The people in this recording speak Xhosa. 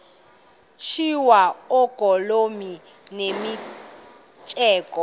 tyiswa oogolomi nemitseke